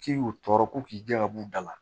K'i y'u tɔɔrɔ ko k'i jɛ ka b'u da la